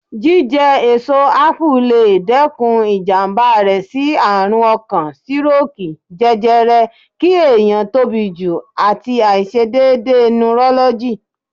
Jíjẹ èso Ápù lè dẹ́kun ìjàmbá rẹ sí àrùn ọkàn, sírókìì, jẹjẹrẹ, kí ẹ̀yàn tóbi jù, àti àìse dédé nurọ́lọ́gì.